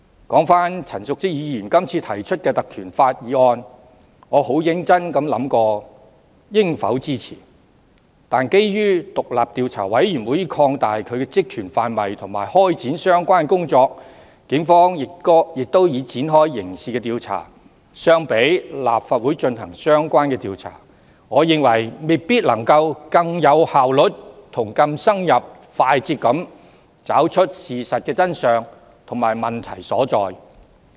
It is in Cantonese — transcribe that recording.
說回陳淑莊議員這次提出的議案，我很認真地思考過應否支持，但基於調查委員會已擴大其職權範圍及開展相關工作，警方亦已展開刑事調查，我認為由立法會進行調查未必能更有效率、更深入和快捷地找出事實的真相和問題所在。